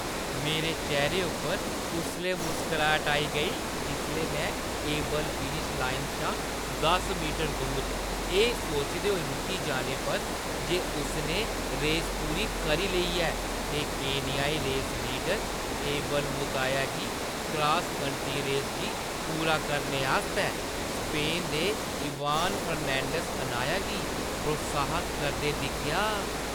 मेरे चेह्‌रे उप्पर उसलै मुस्कराहट आई गेई जिसलै मैं एबेल फिनिश लाइन शा दस मीटर दूर एह् सोचदे होई रुकी जाने पर जे उसने रेस पूरी करी लेई ऐ ते केन्याई रेस लीडर एबेल मुताया गी क्रास-कंट्री रेस गी पूरा करने आस्तै स्पेन दे इवान फर्नांडीस अनाया गी प्रोत्साहत करदे दिक्खेआ ।